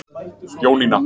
Jónína